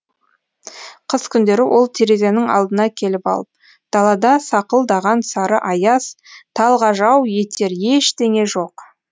қыс күндері ол терезенің алдына келіп алып далада сақылдаған сары аяз талғажау етер ештеңе жоқ